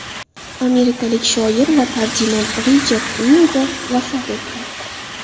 Amerikalik shoir va tarjimon Richard Uilber vafot etdi.